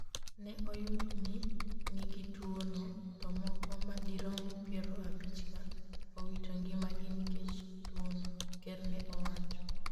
ne oyud ni nigi tuwo no to moko madirom piero abich ka owito ngimagi nikech tuwo no,'ker ne owacho